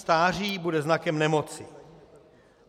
Stáří bude znakem nemoci.